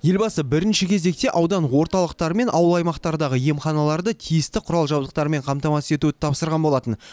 елбасы бірінші кезекте аудан орталықтары мен ауыл аймақтардағы емханаларды тиісті құрал жабдықпен қамтамасыз етуді тапсырған болатын